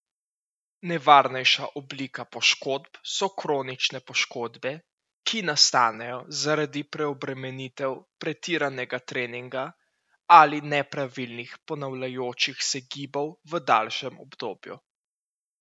Nevarnejša oblika poškodb so kronične poškodbe, ki nastanejo zaradi preobremenitev, pretiranega treninga ali nepravilnih ponavljajočih se gibov v daljšem obdobju.